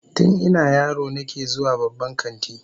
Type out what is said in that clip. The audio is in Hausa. Tun ina yaro nake zuwa babban kanti